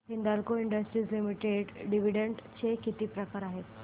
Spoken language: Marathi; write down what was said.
Hindalco industries limited dividend pay किती आहे